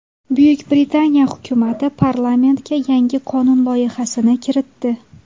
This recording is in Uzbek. Buyuk Britaniya hukumati parlamentga yangi qonun loyihasini kiritdi.